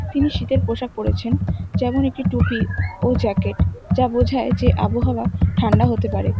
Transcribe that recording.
তিনি শীতের পোশাক পরেছেন যেমন একটি টুপি ও জ্যাকেট যা বোঝায় যে আবহাওয়া ঠান্ডা হতে পারে।